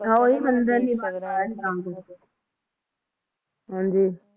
ਹਾ ਉਹੀ ਮੰਦਰ ਸੀ ਹਾ ਜੀ